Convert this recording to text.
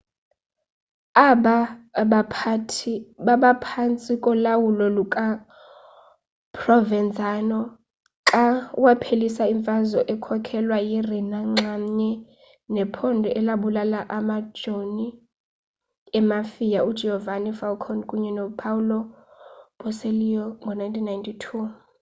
aba baphathi babaphantsi kolawulo lukaprovenzano xa waphelisa imfazwe ekhokhelwa yi-rina nxamnye nephondo elabulala amajoni emafia ugiovanni falcone kunye nopaolo borsellino ngo-1992